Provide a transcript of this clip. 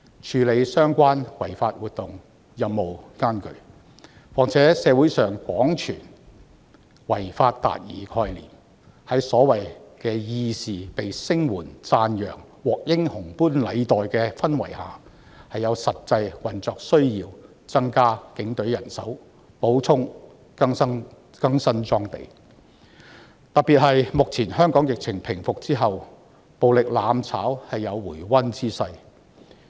處理相關違法活動的任務艱巨，所以在社會上廣傳違法達義的概念，所謂的義士獲聲援及讚揚並獲英雄般禮待的氛圍下，是有實際運作需要增加警隊人手，以及補充及更新裝備，特別是在目前香港的疫情平復後，暴力"攬炒"確有回溫之勢。